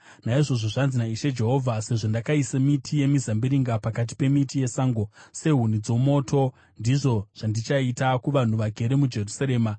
“Naizvozvo zvanzi naIshe Jehovha: Sezvo ndakaisa miti yemizambiringa pakati pemiti yesango sehuni dzomoto, ndizvo zvandichaita kuvanhu vagere muJerusarema.